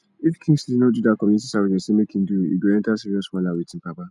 if kingsley no do dat community service dem say make im do e go enter serious wahala with im papa